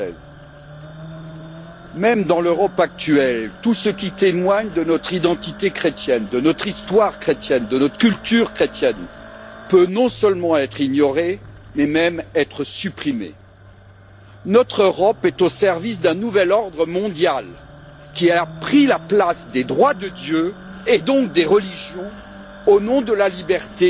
2016. Même dans l'Europe actuelle, tout ce qui témoigne de notre identité chrétienne, de notre histoire chrétienne, de notre culture chrétienne peut non seulement être ignoré, mais même être supprimé. Notre Europe est au service d'un nouvel ordre mondial qui a pris la place des droits de Dieu et donc des religions au nom de la liberté